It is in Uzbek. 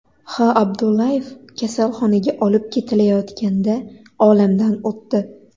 H. Abdullayev kasalxonaga olib ketilayotganda olamdan o‘tdi.